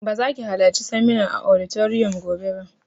Ba za ki halarci seminar a auditorium gobe ba!